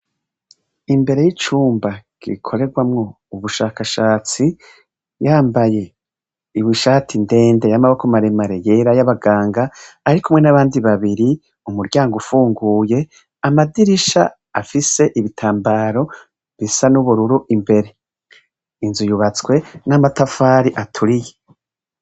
Imbere y'icumba gikorerwamwo ubushakashatsi, yambaye ishati ndende y'amaboko mare mare y'era y'abaganga ari kumwe n'abandi babiri, umuryango ufunguye, amadirisha afise ibitambaro bisa n'ubururu imbere. Inzu yubatswe n'amatafari aturiye.